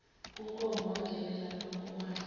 kunkomo wamngenela ngamankomane